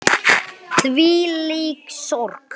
Þvílík sorg.